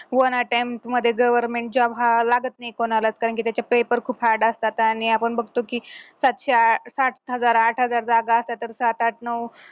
one attempt मध्ये government job हा लागत नाही कोणाला कारण की त्याच्यात paper खूप hard असतात आणि आपण बघतो की साथ हजार आठ हजार जागा अशा तर साथ आठ नऊ